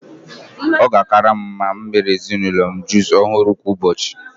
Ọ ga-akara m mma imere ezinụlọ m jusụ ọhụrụ kwa ụbọchị